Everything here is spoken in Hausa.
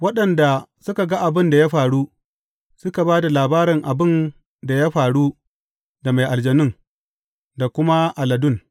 Waɗanda suka ga abin da ya faru, suka ba da labarin abin da ya faru da mai aljanun, da kuma aladun.